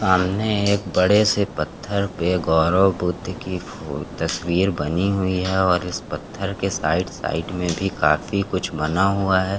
सामने एक बड़े से पत्थर पे गौरव बुद्ध की फ़ो तस्वीर बनी हुई हैं और इस पत्थर के साइड साइड में भी काफी कुछ बना हुआ हैं।